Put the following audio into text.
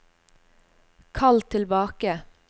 kall tilbake